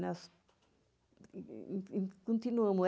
Nós continuamos.